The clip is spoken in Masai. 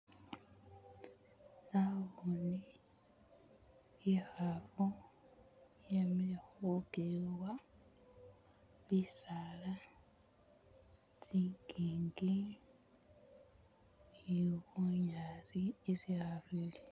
Naboone ikhaafu yemile khulukewa, bisaala, tsingingi ne bunyaasi isi ikhaafu ili.